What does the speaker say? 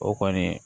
O kɔni